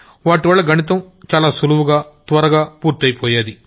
వాటివల్ల గణితం చాలా సులభంగా చాలా తొందరగా పూర్తైపోయేది